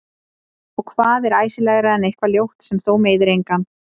Og hvað er æsilegra en eitthvað ljótt sem þó meiðir engan?